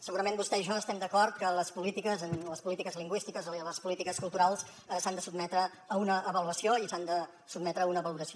segurament vostè i jo estem d’acord que les polítiques lingüístiques i les polítiques culturals s’han de sotmetre a una avaluació i s’han de sotmetre a una valoració